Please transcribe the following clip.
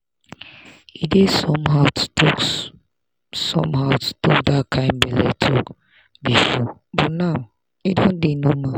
e dey somehow to talk somehow to talk that kind belle talk before but now e don dey normal.